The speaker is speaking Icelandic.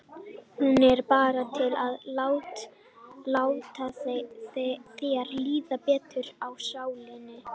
Hún er bara til að láta þér líða betur í sálinni.